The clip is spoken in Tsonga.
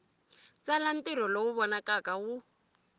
tsala ntirho lowu vonakaka wu